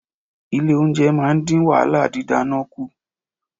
Ilé-oúnjẹ máa ń dín wàhálà didana kù.